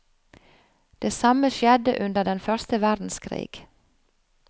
Det samme skjedde under den første verdenskrig.